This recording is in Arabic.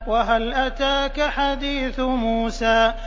وَهَلْ أَتَاكَ حَدِيثُ مُوسَىٰ